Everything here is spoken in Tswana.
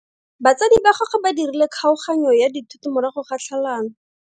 Batsadi ba gagwe ba dirile kgaoganyo ya dithoto morago ga tlhalano.